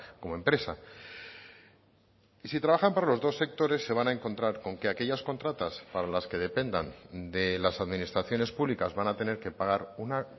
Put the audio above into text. como empresa y si trabajan para los dos sectores se van a encontrar con que aquellas contratas para las que dependan de las administraciones públicas van a tener que pagar una